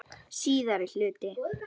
Síðari hluti